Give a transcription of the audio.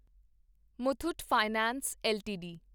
Muthoot finance LTD